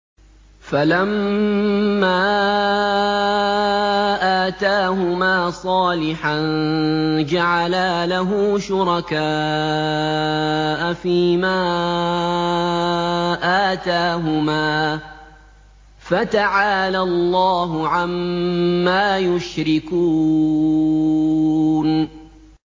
فَلَمَّا آتَاهُمَا صَالِحًا جَعَلَا لَهُ شُرَكَاءَ فِيمَا آتَاهُمَا ۚ فَتَعَالَى اللَّهُ عَمَّا يُشْرِكُونَ